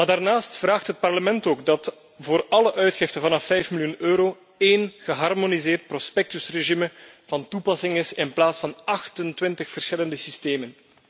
Daarnaast vraagt het Parlement dat voor alle uitgiften vanaf 5 miljoen euro één geharmoniseerd prospectusregime van toepassing is in plaats van 28 verschillende systemen.